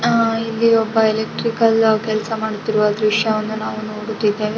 ಆಹ್ಹ್ ಇಲ್ಲಿ ಒಬ್ಬ ಎಲೆಕ್ಟ್ರಿಕಲ್ ಕೆಲಸ ಮಾಡುತ್ತಿರುವ ದ್ರಶ್ಯವನ್ನು ನಾವು ನೋಡುತ್ತಿದ್ದೇವೆ.